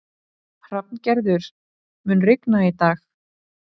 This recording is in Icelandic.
Hrafngerður, mun rigna í dag?